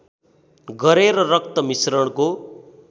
गरेर रक्त मिश्रणको